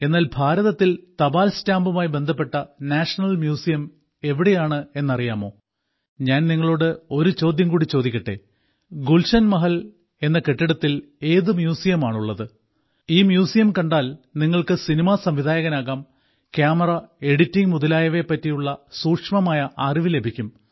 എന്നാൽ ഭാരതത്തിൽ തപാൽ സ്റ്റാമ്പുമായി ബന്ധപ്പെട്ട നാഷണൽ മ്യൂസിയം എവിടെയാണ് എന്നറിയാമോ ഞാൻ നിങ്ങളോട് ഒരു ചോദ്യം കൂടി ചോദിക്കട്ടെ ഗുൽശൻ മഹൽ എന്ന കെട്ടിടത്തിൽ ഏതു മ്യൂസിയമാണുള്ളത് ഈ മ്യൂസിയം കണ്ടാൽ നിങ്ങൾക്ക് സിനിമാ സംവിധായകനാകാം ക്യാമറ എഡിറ്റിംഗ് മുതലായവയെ പറ്റിയുള്ള സൂക്ഷ്മമായ അറിവ് ലഭിക്കും